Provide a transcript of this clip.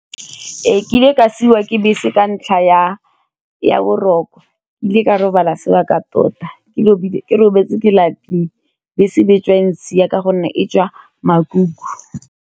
Ee kile ka siwa ke bese ka ntlha ya boroko ke kile ka robala sebaka tota, ke robetse ke lapile bese be tswa e ntshiya ka gonne e tswa makuku.